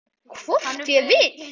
Hvort ég vil!